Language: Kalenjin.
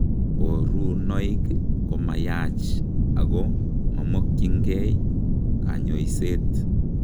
Kaborunoik koma yaach ako momokyinkei kanyoiseet